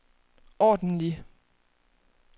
ordentlig